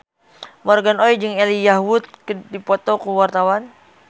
Morgan Oey jeung Elijah Wood keur dipoto ku wartawan